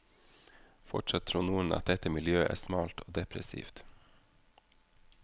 Fortsatt tror noen at dette miljøet er smalt og depressivt.